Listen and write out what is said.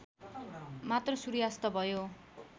मात्र सूर्यास्त भयो